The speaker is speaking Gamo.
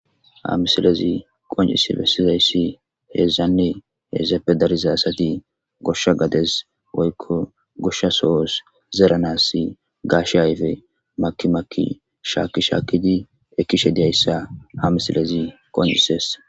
hamisalezi qoncise bessizayssi heezannee heezeppe darizaasati goshsha gades woykko goshsha sohos zeranas gaashe ayfe maki makki shaaki shaakidi ekkishe diyayssa hamisalezi qonjises